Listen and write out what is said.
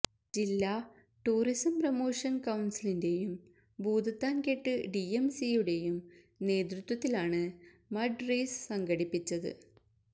ജില്ലാ tourism promotion കൌൺസിലിന്റെയും ഭൂതത്താൻകെട്ട് ഡിഎംസിയുടെയും നേതൃത്വത്തിലാണ് മഡ് റേസ് സംഘടിപ്പിച്ചത്